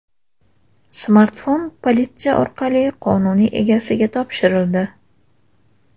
Smartfon politsiya orqali qonuniy egasiga topshirildi.